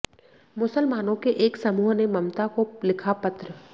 मुसलमानों के एक समूह ने ममता को लिखा पत्र